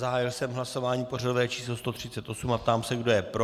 Zahájil jsem hlasování pořadové číslo 138 a ptám se, kdo je pro.